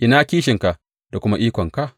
Ina kishinka da kuma ikonka?